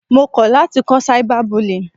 Mo kọ̀ láti kọ́ cyber bullying.